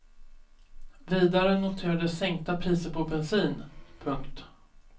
Vidare noterades sänkta priser på bensin. punkt